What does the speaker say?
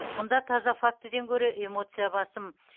мұнда таза фактіден гөрі эмоция басым